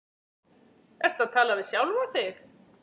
Ertu að tala við sjálfa þig?